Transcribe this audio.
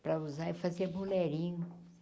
para usar e fazer bolerinho.